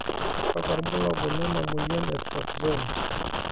kakua irbulabol lena moyian e Troxell